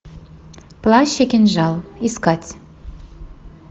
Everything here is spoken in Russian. плащ и кинжал искать